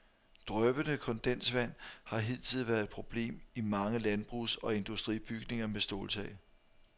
Dryppende kondensvand har hidtil været et problem i mange landbrugs- og industribygninger med ståltag.